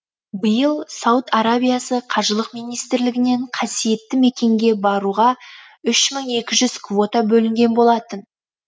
биыл сауд арабиясы қажылық министрлігінен қасиетті мекенге баруға үш мың екі жүз квота бөлінген болатын